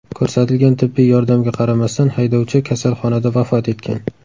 Ko‘rsatilgan tibbiy yordamga qaramasdan, haydovchi kasalxonada vafot etgan.